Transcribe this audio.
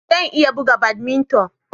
Zan iya buga badminton